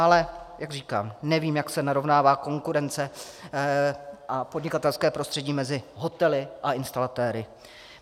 Ale jak říkám, nevím, jak se narovnává konkurence a podnikatelské prostředí mezi hotely a instalatéry.